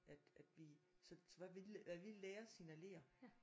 At at vi så vi hvad vi lærer signalerer